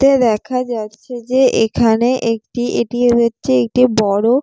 তে দেখা যাচ্ছে যে এখানে একটি এটি হচ্ছে একটি বড়।